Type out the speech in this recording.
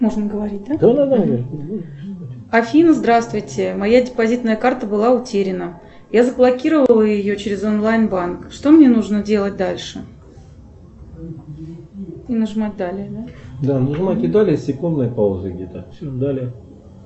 афина здравствуйте моя депозитная карта была утеряна я заблокировала ее через онлайн банк что мне нужно делать дальше